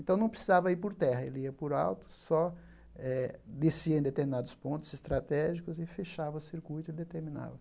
Então não precisava ir por terra, ele ia por alto, só eh descia em determinados pontos estratégicos e fechava o circuito e determinava.